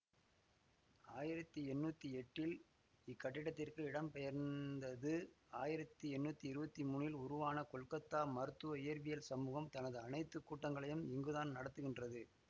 ஆயிரத்தி எண்ணூத்தி எட்டீல் இக்கட்டிடத்திற்கு இடம் பெயர்ந்தது ஆயிரத்தி எண்ணூத்தி இருவத்தி மூனில் உருவான கொல்கத்தா மருத்துவ இயற்பியல் சமூகம் தனது அனைத்து கூட்டங்களையும் இங்குதான் நடத்துகின்றது